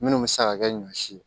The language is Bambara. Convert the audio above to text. Minnu bɛ se ka kɛ ɲɔ si ye